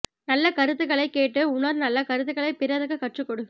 நல்ல கருத்துக்களைக் கேட்டு உணர் நல்ல கருத்துக்களைப் பிறருக்குக் கற்றுக் கொடு